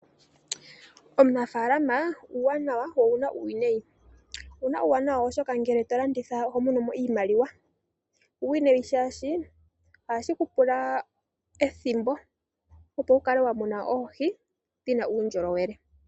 Uunafalama owuna uuwanawa nuuwinayi. Owuna uuwanawa oshoka ngele tolanditha ohomonomo oshimaliwa. Owuna wo uuwinayi shaashi ohashi kupula ethimbo, opo wukale wamuna oohi dhina uundjolowele.